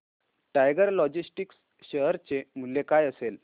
tiger Logistics share चे मूल्य काय असेल